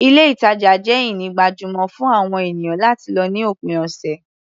Ilé-ìtajà jẹ́ ini gbajúmọ̀ fún àwọn ènìyàn láti lọ ní òpin ọ̀sẹ̀.